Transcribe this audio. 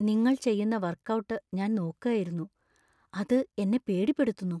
നിങ്ങൾ ചെയ്യുന്ന workout ഞാൻ നോക്കായിരുന്നു, അത് എന്നെ പേടിപ്പെടുത്തുന്നു.